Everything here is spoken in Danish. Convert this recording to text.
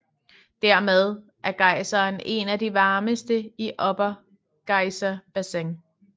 Dermed er gejseren en af de varmeste i Upper Geyser Basin